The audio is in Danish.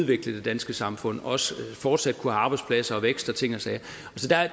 det danske samfund og også fortsat at kunne have arbejdspladser vækst og ting og sager